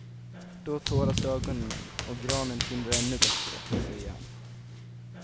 Då tåras ögonen och granen tindrar ännu bättre, säger han.